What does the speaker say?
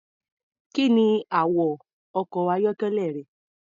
Kí ni àwọ̀ ọkọ̀-ayọ́kẹ́lẹ́ rẹ?